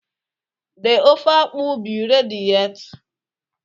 the ofe akwu be ready yet?